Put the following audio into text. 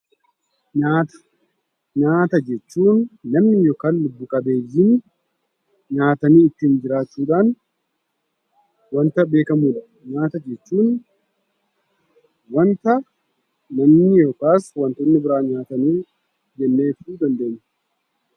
Nyaata. Nyaata jechuun namni yookaan lubbu qabeeyyiin nyaatanii kan ittiin jiraachuudhaan wanta beekamaadha. Nyaata jechuun wanta namni yookaan wantoonni biraan nyaatan jennee ibsuu dandeenya.